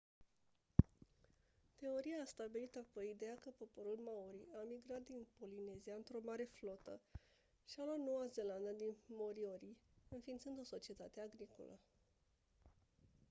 teoria a stabilit apoi ideea că poporul maori a migrat din polinezia într-o mare flotă și a luat noua zeelandă din moriori înființând o societate agricolă